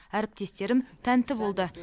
әріптестерім тәнті болды